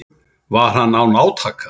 Var hann án átaka.